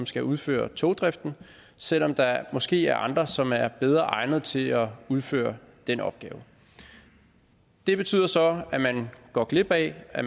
skal udføre togdriften selv om der måske er andre som er bedre egnet til at udføre den opgave det betyder så at man går glip af at